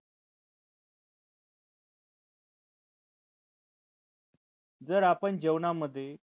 जर आपण जेवणा मध्ये